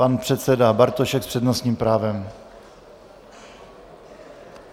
Pan předseda Bartošek s přednostním právem.